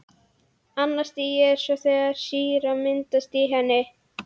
Annað stigið er svo þegar sýra myndast í henni.